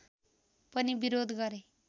पनि विरोध गरे